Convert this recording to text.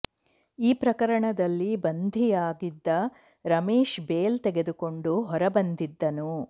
ಈ ಪ್ರಕರಣದಲ್ಲಿ ಬಂಧಿಯಾಗಿದ್ದ ರಮೇಶ್ ಬೇಲ್ ತೆಗೆದುಕೊಂಡು ಹೊರ ಬಂದಿದ್ದನು